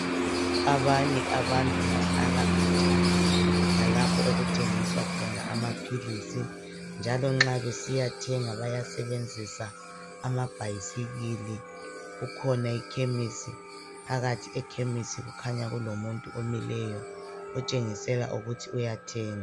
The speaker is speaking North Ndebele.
Abanye abantu bahlala khatshana lalapho okuthengiswa khona amaphilisi njalo nxa besiyathenga bayasebenzisa amabhayisikili. Kukhona ikhemisi, phakathi ekhemisi kukhanya kulomuntu omileyo otshengisela ukuthi uyathenga.